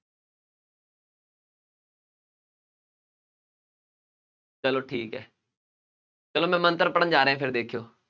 ਚੱਲੋ ਠੀਕ ਹੈ, ਚੱਲੋ ਮੈਂ ਮੰਤਰ ਪੜ੍ਹਨ ਜਾ ਰਿਹਾ ਫੇਰ ਦੇਖਿਉ,